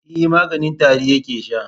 E, maganin tari yake sha.